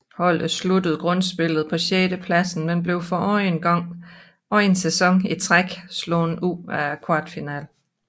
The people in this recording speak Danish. Holdet sluttede grundspillet på sjettepladsen men blev for anden sæson i træk slået ud i kvartfinalen